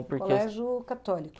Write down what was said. colégio católico.